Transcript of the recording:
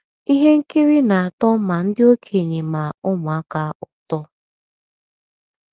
Ihe nkiri the text na - atọ ma ndị okenye ma ụmụaka ụtọ